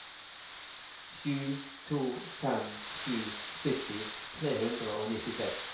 sju to fem sju sytti tre hundre og nittiseks